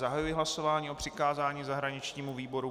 Zahajuji hlasování o přikázání zahraničnímu výboru.